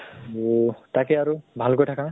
তাকে আৰু ভাল কৈ থাকা।